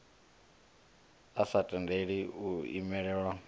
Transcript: a sa tendeli u imelelwa